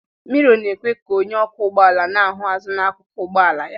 Mirò na-ekwe ka onye ọkwọ ụgbọ ala na-ahụ azụn'akụkụ ụgbọ ala ahụ